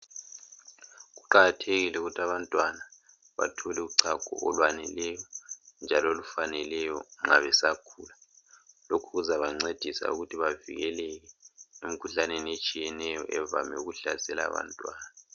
Kuqakathekile ukuthi abantwana bathole uchago olwaneleyo njalo olufaneleyo nxa besakhula lokhu kuzabancedisa ukuthi bavikeleke emikhuhlaneni etshiyeneyo evame ukuhlasela abantwana.